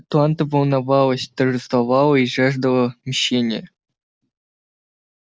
атланта волновалась торжествовала и жаждала мщения